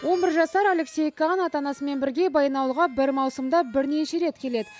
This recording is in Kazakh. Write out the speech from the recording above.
он бір жасар алексей кан ата анасымен бірге баянауылға бір маусымда бірнеше рет келеді